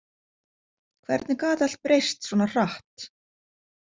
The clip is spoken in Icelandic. Hvernig gat allt breyst svona hratt?